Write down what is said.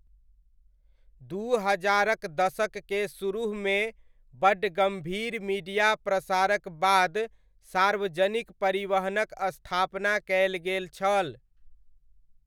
दू हजारक दशक केर सुरुहमे बड्ड गम्भीर मीडिया प्रसारक बाद सार्वजनिक परिवहनक स्थापना कयल गेल छल।